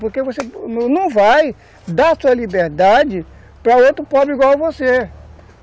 Porque você não vai dar a sua liberdade para outro pobre igual você.